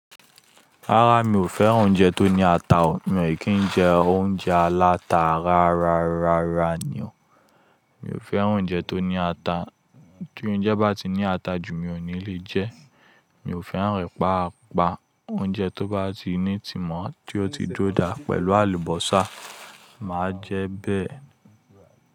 Rárá, mi ò fẹ́ràn oúnjẹ tó ní ata. Mi o dè kí ń jẹ oúnjẹ aláta rárá, rárá ni o. Mi ò fẹ́ràn oúnjẹ tó ní ata. Tí oúnjẹ bá ti ní ata jù, mi ò ní lè jẹ. Mi ò fẹ́ràn ẹ̀ pa pá. Oúnjẹ tó bá ti ní ìtimọ̀ tí ó ti dúró dá pẹ̀lú àlùbọ́sà, màá jẹ bẹ́ẹ̀